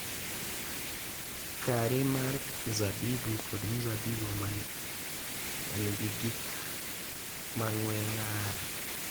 Kari mar mzabibu kod mzabibu ma nigi gik ma ng’we ng’ar.